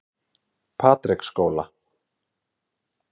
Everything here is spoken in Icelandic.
Patreksskóla